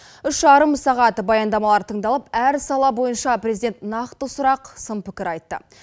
үш жарым сағат баяндамалар тыңдалып әр сала бойынша президент нақты сұрақ сын пікір айтты